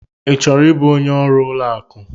I chọrọ ịbụ onye ọrụ ụlọ akụ?